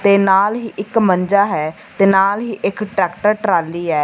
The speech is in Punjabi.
ਤੇ ਨਾਲ ਹੀ ਇੱਕ ਮੰਜਾ ਹੈ ਤੇ ਨਾਲ ਹੀ ਇੱਕ ਟਰੈਕਟਰ ਟਰਾਲੀ ਐ।